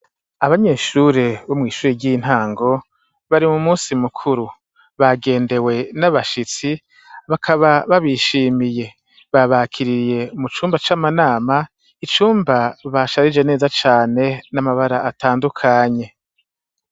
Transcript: Abanyeshure bo mw'ishure ry'intango, bari mu musi mukuru. Bagendewe n'abashitsi, bakaba babishimiye. Babakiririye mu cumba c'amanama, icumba basharije neza cane, n'amabara atandukanye.